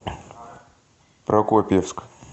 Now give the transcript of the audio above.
прокопьевск